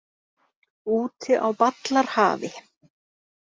Úti á ballarhafi.